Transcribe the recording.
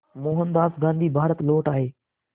मोहनदास गांधी भारत लौट आए